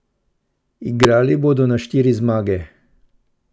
Igrali bodo na štiri zmage.